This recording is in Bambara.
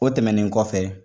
O tɛmɛnen kɔfɛ.